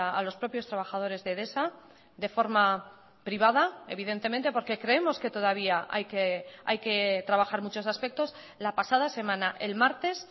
a los propios trabajadores de edesa de forma privada evidentemente porque creemos que todavía hay que trabajar muchos aspectos la pasada semana el martes